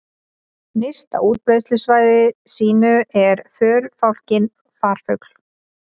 Nyrst á útbreiðslusvæði sínu er förufálkinn farfugl.